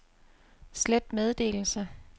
slet meddelelse